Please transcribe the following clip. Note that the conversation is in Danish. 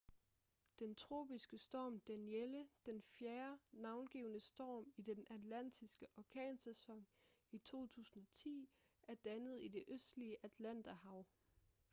den tropiske storm danielle den fjerde navngivne storm i den atlantiske orkansæson i 2010 er dannet i det østlige atlanterhav